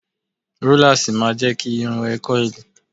Rólásì ma jẹ́ kí irun ẹ kọ́ìlì